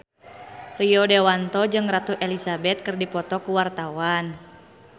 Rio Dewanto jeung Ratu Elizabeth keur dipoto ku wartawan